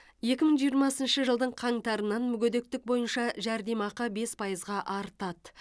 екі мың жиырмасыншы жылдың қаңтарынан мүгедектік бойынша жәрдемақы бес пайызға артады